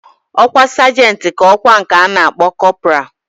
Okwa sergent ka okwa nke ana akpo corporal.